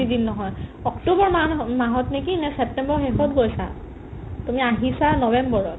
দিন নহয়, অক্টোবৰ মাহ নহয় মাহত নেকি নে ছেপ্তেম্বৰৰ শেষত গৈছা তুমি আহিছা নৱেম্বৰত